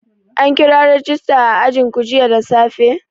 An kira rajista a ajinku jiya da safe?